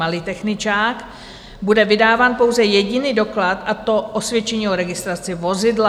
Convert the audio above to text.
malý techničák - bude vydáván pouze jediný doklad, a to osvědčení o registraci vozidla.